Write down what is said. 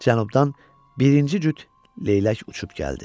Cənubdan birinci cüt leylək uçub gəldi.